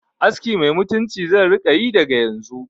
Aski mai mutunci zan rika yi daga yanzu